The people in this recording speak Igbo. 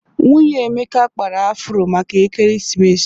Nwunye Emeka kpara afụro maka Ekeresimesi.